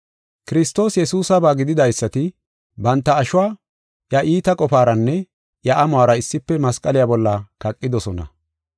Kiristoos Yesuusaba gididaysati banta ashuwa iya iita qofaranne iya amuwara issife masqaliya bolla kaqidosona.